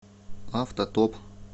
автотоп